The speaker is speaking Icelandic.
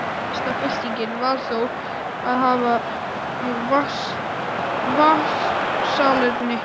Mesta byltingin var þó að hafa nú vatnssalerni.